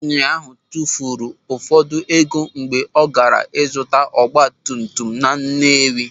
Nwaanyị ahụ tụfuru ụfọdụ ego mgbe ọ gaara ịzụta ogbatumtum na Nnewi.